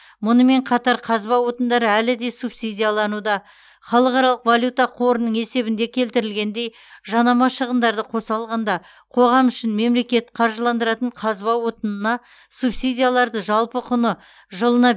мұнымен қатар қазба отындары әлі де субсидиялануда халықаралық валюта қорының есебінде келтірілгендей жанама шығындарды қоса алғанда қоғам үшін мемлекет қаржыландыратын қазба отынына субсидияларды жалпы құны жылына